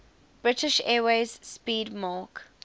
british airways 'speedmarque